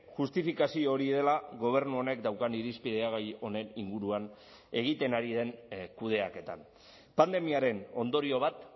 justifikazio hori dela gobernu honek daukan irizpidea gai honen inguruan egiten ari den kudeaketan pandemiaren ondorio bat